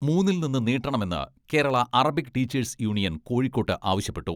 മൂന്നിൽ നിന്ന് നീട്ടണമെന്ന് കേരളാ അറബിക് ടീച്ചേഴ്സ് യൂണിയൻ കോഴിക്കോട്ട് ആവശ്യപ്പെട്ടു.